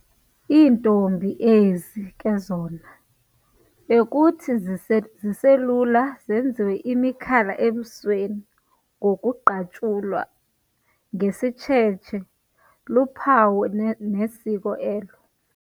IIntombi ezi ke zona bekuthi ziselula zenziwe imikhala ebusweni ngokuqatshulwa ngesitshetshe, luphawu nesiko elo.